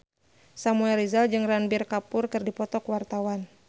Samuel Rizal jeung Ranbir Kapoor keur dipoto ku wartawan